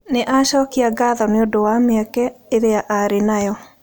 Nĩ aacokagia ngatho nĩ ũndũ wa mĩeke ĩrĩa aarĩ nayo.